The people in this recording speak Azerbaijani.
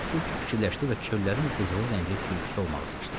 Tülkü fikirləşdi və çöllərin qızılı rəngli tülküsü olmağı seçdi.